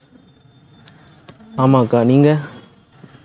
ஆமாக்கா, நீங்க